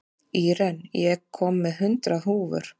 Íren, ég kom með hundrað húfur!